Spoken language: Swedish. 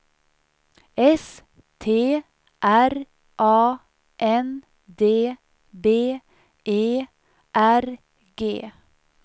S T R A N D B E R G